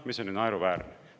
See on ju naeruväärne!